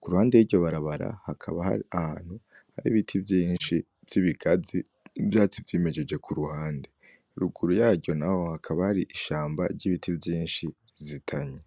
k'uruhande y'iryo barabara hakaba hari ahantu hari ibiti vyinshi vy'ibigazi n'ivyatsi vyimejeje k'uruhande ruguru yaryo naho hakaba hari ishamba ry'ibiti vyinshi bizitanye.